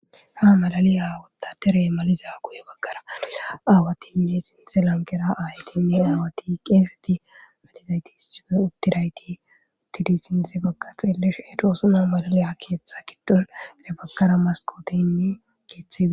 Ha malaliyawadatere maliza guye baggaraa aawati mie sinse lankera aytinne aawati qeeseti malizayti sife uktirayti tidi sinse bagga xeelesh edoosuna malaliya keeththe giddon le bakara maskootiynne keeththee.